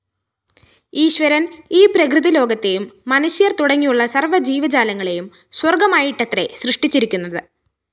ഈശ്വരന്‍ ഈ പ്രകൃതിലോകത്തെയും മനുഷ്യര്‍ തുടങ്ങിയുള്ള സര്‍വ്വജീവജാലങ്ങളേയും സ്വര്‍ഗ്ഗമായിട്ടത്രെ സൃഷ്ടിച്ചിരിക്കുന്നത്